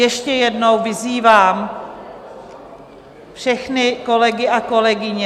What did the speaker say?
Ještě jednou vyzývám všechny kolegy a kolegyně...